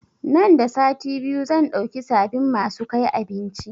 Nan da sati biyu zan dauki sabin masu kai abinci